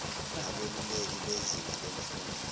nabeluleki bezinga lemfundo